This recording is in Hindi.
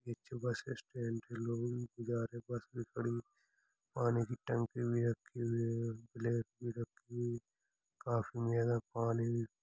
इस बस स्टैन्ड लोगो के आने जाने के पानी की टंकी रखी हुई है और ब्लेक भी रखी हुई है खाफी ज्यादा पानी --